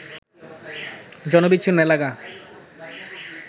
জনবিচ্ছিন্ন এলাকা